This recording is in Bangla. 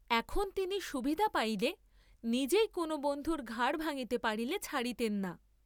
এখন তিনি সুবিধা পাইলে নিজেই কোন বন্ধুর ঘাড় ভাঙ্গিতে পারিলে ছাড়িতেন না।